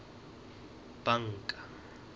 banka